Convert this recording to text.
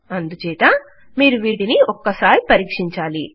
అందుచేత మీరు వీటిని ఒకసారి పరీక్షించాలి